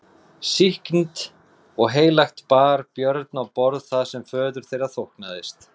Sýknt og heilagt bar Björn á borð það sem föður þeirra þóknaðist.